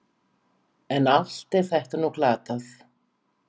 En allt er þetta nú glatað.